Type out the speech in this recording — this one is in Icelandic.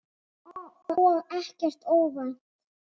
Og ekkert óvænt.